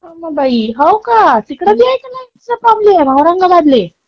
अग बाई, हो का. तिकडे पण असा लईटीचा प्रॉब्लेम औरंगाबाद ले.